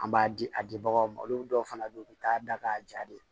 An b'a di a dibagaw ma olu dɔw fana be ye u bi taa da k'a ja de